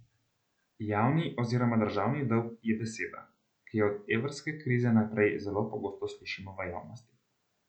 Javni oziroma državni dolg je beseda, ki jo od evrske krize najprej zelo pogosto slišimo v javnosti.